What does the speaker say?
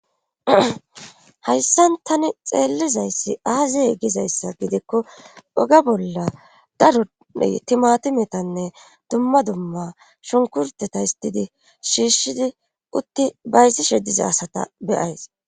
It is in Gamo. Hayssan tani xeellizayssi aaziye gizayssa gidikko oge bolla darui timatimetanne dumma dumma shunkurteta histidi shiishshidi utti bayssishe diza asata beyays.